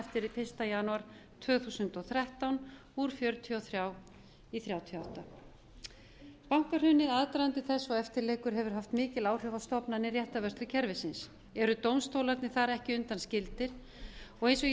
eftir fyrsta janúar tvö þúsund og þrettán úr fjörutíu og þrjú í þrjátíu og átta bankahrunið aðdragandi þess og eftirleikur hefur haft mikil áhrif á stofnanir réttarvörslukerfisins eru dómstólarnir þar ekki undanskildir eins og ég skýrði